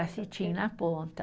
cetim na ponta.